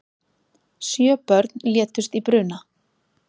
Sjö börn létust í bruna